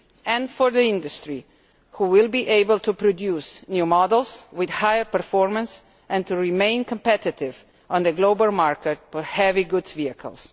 and for the industry, which will be able to produce new models with higher performance and to remain competitive on the global market for heavy goods vehicles.